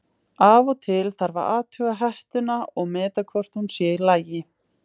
Af og til þarf að athuga hettuna og meta hvort hún sé í lagi.